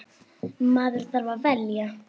Maður þarf að velja.